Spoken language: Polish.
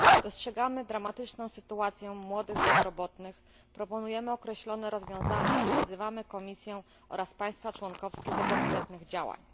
Dostrzegamy dramatyczną sytuację młodych bezrobotnych, proponujemy określone rozwiązania oraz wzywamy Komisję i państwa członkowskie do konkretnych działań.